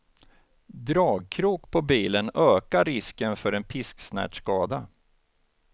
Dragkrok på bilen ökar risken för en pisksnärtskada.